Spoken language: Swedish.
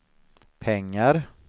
pengar